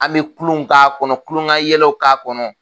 An bɛ kulonw k'a kɔnɔ kulon ka yɛlɛw k'a kɔnɔ